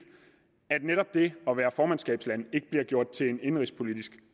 at netop det at være formandskabsland ikke bliver gjort til en indenrigspolitisk